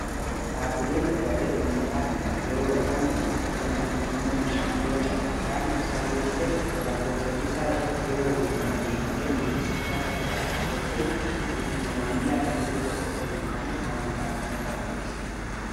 Dhaabbileen tajaajila ummataa kanneea yeroo rakkoon uumamu fakkeenyaaf ujummoon bishaanii yoo cabee yookaan ibsaa yoo cite lakkoofsa-bilisaa irratti yeroo hundumaa beebii kennuu fi suphaa saffisaa raawwachuun itti quufinsa maamilaa dabaluu qofoaa osoo hin taane amantaa ummataa guddisa.